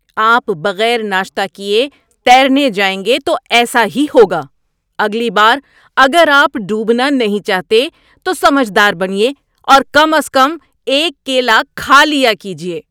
آپ بغیر ناشتہ کیے تیرنے جائیں گے تو ایسا ہی ہوگا۔ اگلی بار اگر آپ ڈوبنا نہیں چاہتے تو سمجھ دار بنیے اور کم از کم ایک کیلا کھا لیا کیجیے۔